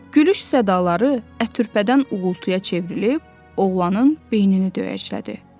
Gülüş sədaları ətürpədən uğultuya çevrilib oğlanın beynini döyəcləyirdi.